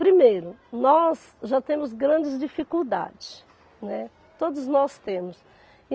Primeiro, nós já temos grandes dificuldades, né, todos nós temos.